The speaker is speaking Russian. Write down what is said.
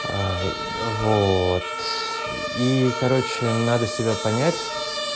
ай вот и короче надо себя понять